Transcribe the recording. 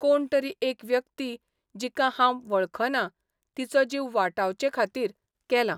कोण तरी एक व्यक्ती, जिका हांब वळखना, तिचो जीव वाटावचेखातीर केला.